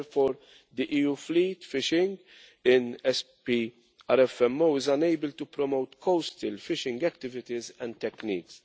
Therefore the EU fleet fishing in SPRFMO is unable to promote coastal fishing activities and techniques.